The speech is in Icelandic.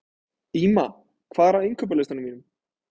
Ýma, hvað er á innkaupalistanum mínum?